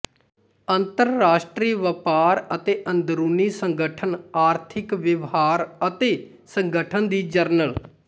ਅੰਤਰਰਾਸ਼ਟਰੀ ਵਪਾਰ ਅਤੇ ਅੰਦਰੂਨੀ ਸੰਗਠਨ ਆਰਥਿਕ ਵਿਵਹਾਰ ਅਤੇ ਸੰਗਠਨ ਦੀ ਜਰਨਲ